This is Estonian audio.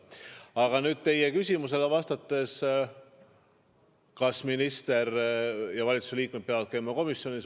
Aga nüüd teie küsimus, kas ministrid, valitsuse liikmed peavad käima komisjonis.